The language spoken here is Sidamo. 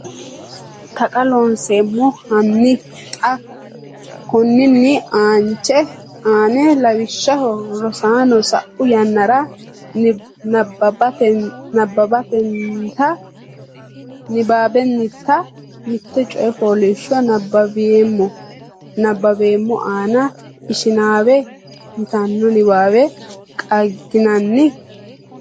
Taqa Loonseemmo Hanni xa konninni aanche ani lawishshaho Rosaano, sa’u yannara nabbabbinita mitte coy fooliishsho nabbaweemmo anna ‘Ishinaawa’ yitanno niwaawe qaagginanni?